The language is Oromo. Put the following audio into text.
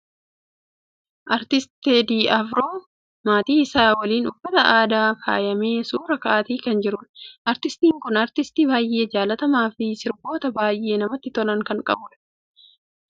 Artisti Teedii Afroon maatii isaa waliin, uffata aadaan faayamee suuraa ka'aati kan jiru. Artistiin kun, artistii baay'ee jaallatamaafi sirboota baay'ee namatti tolan kan qabuudha. Namni kun, biyyaa keenya Itiyoophiyaaf, gaheen inni taphate kan ammana jedhamee hindhumnedha.